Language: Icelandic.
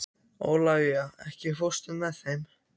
Ólafía, ekki fórstu með þeim?